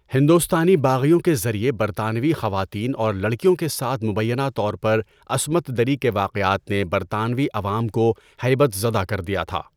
ہندوستانی باغیوں کے ذریعہ برطانوی خواتین اور لڑکیوں کے ساتھ مبینہ طور پر عصمت دری کے واقعات نے برطانوی عوام کو ہیبت زدہ کر دیا تھا۔